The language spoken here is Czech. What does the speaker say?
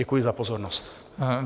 Děkuji za pozornost.